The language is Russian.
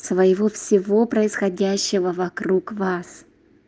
своего всего происходящего вокруг вас